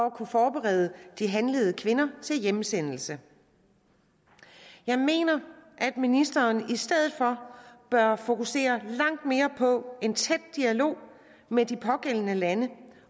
at kunne forberede de handlede kvinder til hjemsendelse jeg mener at ministeren i stedet for bør fokusere langt mere på en tæt dialog med de pågældende lande